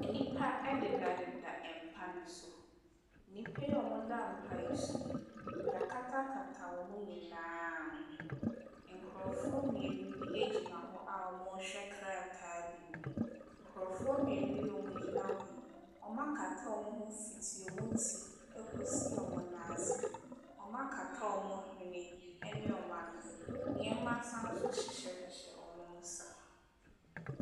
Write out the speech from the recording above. Nnipa dedadeda mpa no so. Nnipa yi a wɔda mpa yi so yi, wɔakatakata wɔn nyinaa ho. Nkurɔfoɔ mmienu bi gyina hɔ a wɔrehwɛ krataa bi mu. Nkurɔfoɔ mmienu yi a wɔgyina hɔ yi, wɔakata wɔn ho fiti wɔn ti kɔsi wɔn nan ase. Wɔakata wɔn hwene ne wɔn ano. Nneɛma san nso hyehyɛhyehyɛ wɔn nsa.